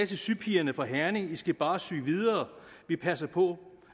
til sypigerne fra herning i skal bare sy videre vi passer på